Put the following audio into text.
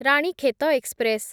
Ranikhet express